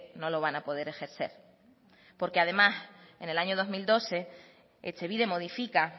no lo van a poder ejercer porque además en el año dos mil doce etxebide modifica